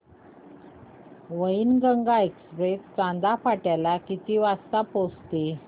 Wainganga express Chanda fort ला किती वाजता पोहचते